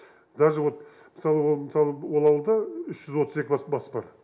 даже вот мысалы ол мысалы ол ауылда үш жүз отыз екі бас бас бар